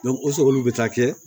o olu be taa kɛ